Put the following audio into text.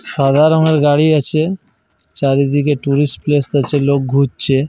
সাদা রঙের গাড়ি আছে। চারিদিকে টুরিস্ট প্লেস আছে লোক ঘুরছে।